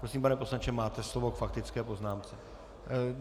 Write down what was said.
Prosím, pane poslanče, máte slovo k faktické poznámce.